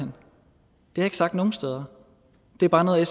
har jeg ikke sagt nogen steder det er bare noget